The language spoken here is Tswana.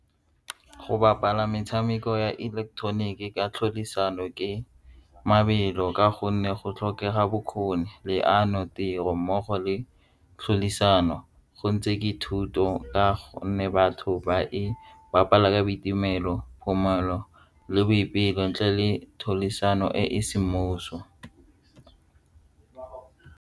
Go bapala metshameko ya ileketeroniki ka tlhodisano ke mabelo ka gonne go tlhokega bokgoni, leano, tiro mmogo le go ntshe dithuto ka gonne batho ba e bapala ka boitumelo, le boipelo le e e semmuso.